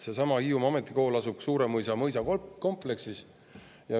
Seesama Hiiumaa Ametikool asub Suuremõisa mõisakompleksis.